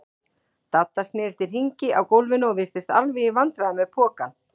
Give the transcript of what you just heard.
Dadda snerist í hringi á gólfinu og virtist alveg í vandræðum með pokann.